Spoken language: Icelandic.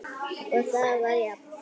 Það var jafnt.